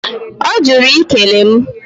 Ọ jụrụ i kele mụ.